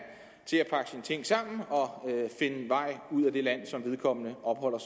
i ting sammen og finde vej ud af det land som vedkommende opholder